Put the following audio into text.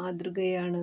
മാതൃകയാണ്